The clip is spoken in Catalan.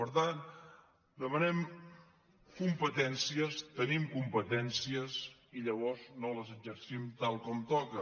per tant demanem competències tenim competèn·cies i llavors no les exercim tal com toca